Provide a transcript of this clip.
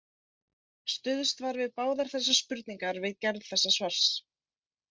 Stuðst var við báðar þessar spurningar við gerð þessa svars.